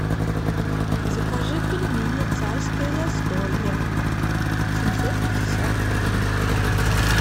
закажи пельмени царское застолье семьсот пятьдесят граммов